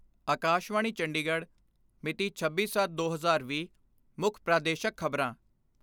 ਅਕਾਸ਼ਵਾਣੀ ਚੰਡੀਗੜ੍ਹ ਮਿਤੀ ਛੱਬੀ ਸੱਤ ਦੋ ਹਜ਼ਾਰ ਵੀਹ ਮੁੱਖ ਪ੍ਰਦੇਸ਼ਕ ਖਬਰਾਂ